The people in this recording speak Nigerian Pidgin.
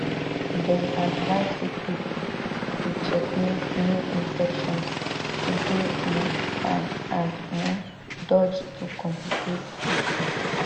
dem advise sick pipo to checkmate new infections to dey um fine and um dodge to complicate issue